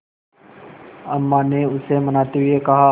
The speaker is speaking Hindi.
अम्मा ने उसे मनाते हुए कहा